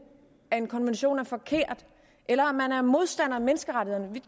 at en konvention er forkert eller at modstander af menneskerettighederne vi